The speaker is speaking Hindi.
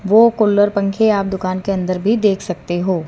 वो कुल्लर पंखे आप दुकान के अंदर भी देख सकते हो।